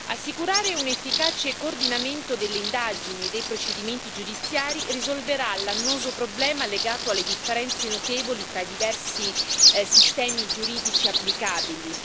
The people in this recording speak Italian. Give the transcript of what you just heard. Assicurare un efficace coordinamento delle indagini e dei procedimenti giudiziari, risolverà l'annoso problema legato alle differenze notevoli tra i diversi sistemi giuridici applicabili.